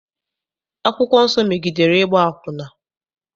Akwụkwọ nsọ megidere ịgba akwụna.